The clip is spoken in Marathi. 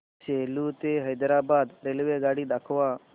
सेलू ते हैदराबाद रेल्वेगाडी दाखवा